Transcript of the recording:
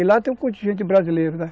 E lá tem um contingente brasileiro, né?